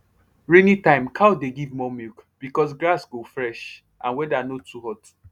rainy time cow dey give more milk because grass go fresh and weather no too hot